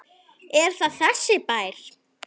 Er það þessi bær?